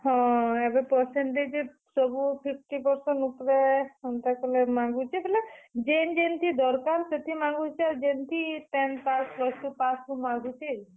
ହଁ, ଏଭେ percentage ସବୁ fifty percentage ଉପରେ ହେନ୍ ତା ମାଗୁଛେ। ବେଲେ ଯେନ୍ ଯେନ୍ ଥି ଦରକାର ସେଥି ମାଗୁଛେ। ଆଉ ଯେନ୍ ଥି tenth pass, plus two pass ସେଥି ମାଗୁଛେ।